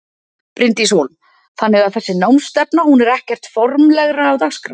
Bryndís Hólm: Þannig að þessi námsstefna hún er ekkert formlegra á dagskrá?